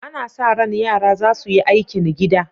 Ana sa ran yara za su yi aikin gida.